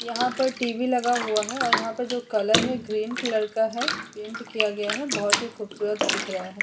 यहाँ पर टी.वी. लगा हुआ है और यहाँ पर जो कलर है ग्रीन कलर का है। पेंट किया गया है। बोहोत ही खूबसूरत दिख रहा है।